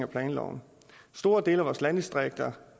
planloven i store dele af vores landdistrikter